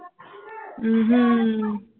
ਹਮ